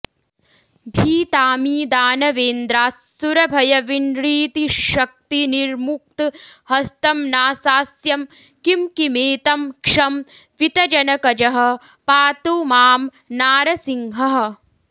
भीताऽमी दानवेन्द्रास्सुरभयविनृतिश्शक्तिनिर्मुक्तहस्तं नासास्यं किं किमेतं क्षं वितजनकजः पातु मां नारसिंहः